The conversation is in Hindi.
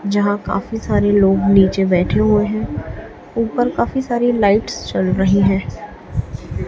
यहां काफी सारे लोग नीचे बैठे हुए हैं ऊपर काफी सारी लाइट्स चल रही हैं।